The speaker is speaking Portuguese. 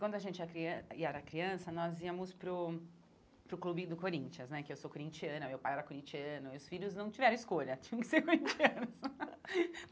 Quando a gente era crian e era criança, nós íamos para o para o clube do Corinthians né, porque eu sou corintiana, meu pai era corintiano, e os filhos não tiveram escolha, tinham que ser corintianos.